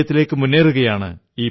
വിജയത്തിലേക്കു മുന്നേറുകയാണ്